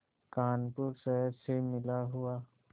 कानपुर शहर से मिला हुआ